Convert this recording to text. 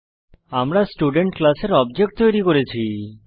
আমরা স্টুডেন্ট ক্লাসের অবজেক্ট তৈরী করেছি